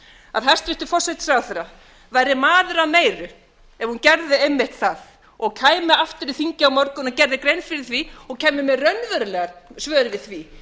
að hæstvirtur forsætisráðherra verði maður að meiri ef hún gerði einmitt það og kæmi aftur í þingið á morgun og gerði grein fyrir því og kæmi með raunveruleg svör við því